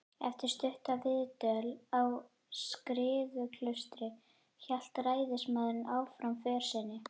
Eftir stutta viðdvöl á Skriðuklaustri hélt ræðismaðurinn áfram för sinni.